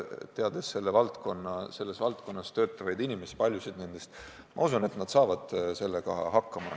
Teades paljusid selles valdkonnas töötavaid inimesi, ma usun, et nad saavad sellega hakkama.